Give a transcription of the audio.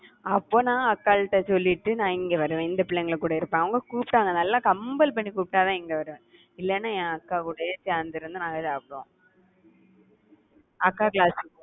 அப்போ நான் அக்காள்ட்ட சொல்லிட்டு நா இங்க வருவேன் இந்த பிள்ளைங்கள் கூட இருப்பேன் அவங்க கூப்பிட்டாங்க நல்லா compel பண்ணி கூப்பிட்டாதான் இங்க வருவேன். இல்லைன்னா, என் அக்காகூடயே சேர்ந்து இருந்து நாங்க சாப்பிடுவோம் அக்கா class